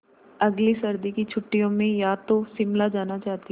अगली सर्दी की छुट्टियों में मैं या तो शिमला जाना चाहती हूँ